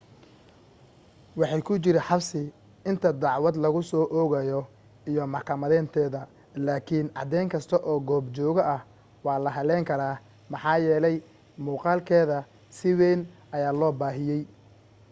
waxay ku jiri xabsi inta dacwad lagu soo oogayo iyo maxkamadeynteeda laakiin cadeyn kasta oo goobjooge ah waa la hallayn karaa maxaa yeelay muuqaalkeeda si weyn ayaa loo baahiyay